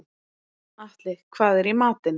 Atli, hvað er í matinn?